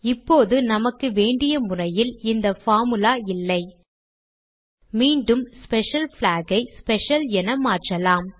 இப்போது நமக்கு வேண்டிய முறையில் இந்த பார்முலா இல்லை மீண்டும் ஸ்பெஷல் பிளாக் ஐ ஸ்பெஷல் என மாற்றலாம்